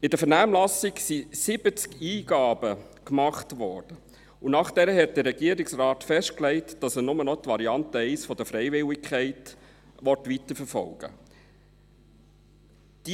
In der Vernehmlassung wurden 70 Eingaben gemacht, und danach legte der Regierungsrat fest, dass er nur noch die Variante 1 mit der Freiwilligkeit weiterverfolgen will.